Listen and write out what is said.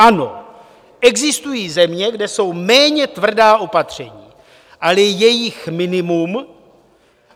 Ano, existují země, kde jsou méně tvrdá opatření, ale je jich minimum.